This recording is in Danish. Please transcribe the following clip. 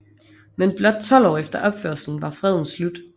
Men blot 12 år efter opførelsen var freden slut